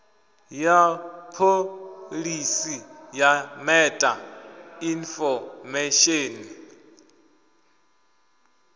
ya pholisi ya meta infomesheni